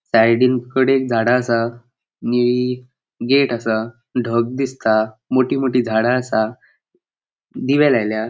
साइडीन कड़ेक झाडा आसा निळी गेट आसा ढग दिसता मोठी मोठी झाडा आसा दिवे लायल्या.